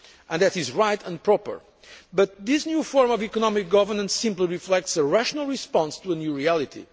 That is right and proper, but this new form of economic governance simply reflects a rational response to a new reality.